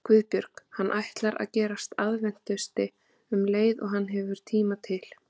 GUÐBJÖRG: Hann ætlar að gerast aðventisti um leið og hann hefur tíma til.